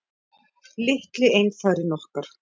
Litli einfarinn okkar.